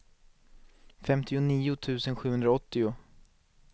femtionio tusen sjuhundraåttio